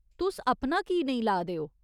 तुस अपना की नेईं ला दे ओ?